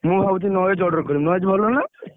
ମୁଁ ଭାବୁଥିଲି Noise order କରିବି Noise ଭଲ ନା?